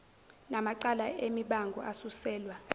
namacala emibango asuselwa